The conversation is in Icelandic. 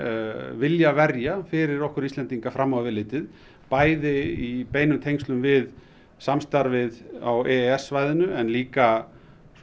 vilja verja fyrir okkur Íslendinga fram á við litið bæði í beinum tengslum við samstarfið á e e s svæðinu en líka